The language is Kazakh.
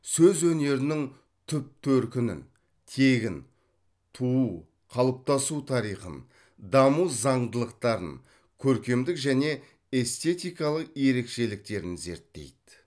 сөз өнерінің түп төркінін тегін туу қалыптасу тарихын даму заңдылықтарын көркемдік және эстетикалық ерекшеліктерін зерттейді